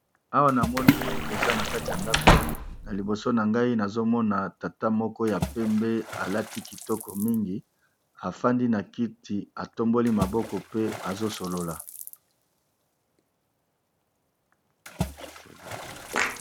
Awa namoni eza na kati ya ndako na liboso na ngai nazo mona tata moko ya pembe, alati kitoko mingi afandi na kiti atomboli maboko pe azo solola.